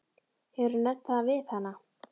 Hefurðu nefnt það við hana?